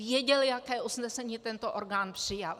Věděl, jaké usnesení tento orgán přijal.